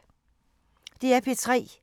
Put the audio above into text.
DR P3